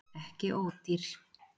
Ekki ódýr